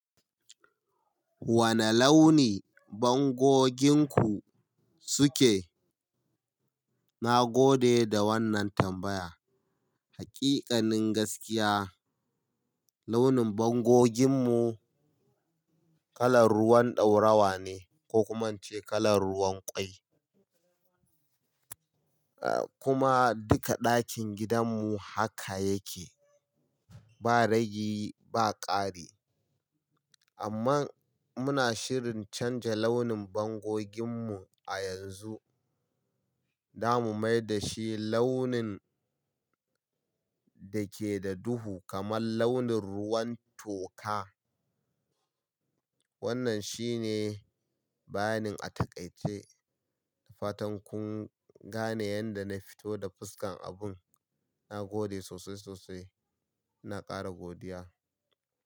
Wane launi bangoginku suke? Na gode da wannan tambaya. Haƙiƙanin gaskiya, launin bangoginmu kalar ruwan ɗaurawa ne ko kuma in ce kalar ruwan ƙwai, ah kuma duka ɗakin gidanmu haka yake. Ba ragi ba ƙari. Amman muna shirin canja launin bangoginmu a yanzu, za mu mai dashi launin da ke da duhu kamar launin ruwan toka. Wannan shine bayanin a taƙaice. Fatan kun gane yanda na fito da fuskan abun. Na gode sosai, sosai. Na ƙara godiya.